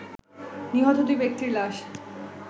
নিহত দুই ব্যক্তির লাশ